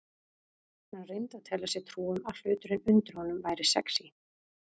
Hann reyndi að telja sér trú um að hluturinn undir honum væri sexí.